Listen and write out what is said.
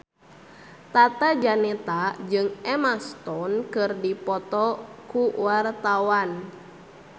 Tata Janeta jeung Emma Stone keur dipoto ku wartawan